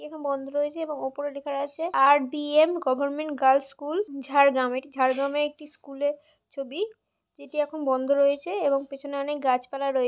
কেখান বন্ধ রয়েছে এবং ওপরে লেখা আছে R B M government girls school Jhargram এটি ঝাড়গ্রামের একটি স্কুলের ছবি সেটি বন্ধ রযেছে এবং পেছনে অনেক গাছপালা রয়েছে --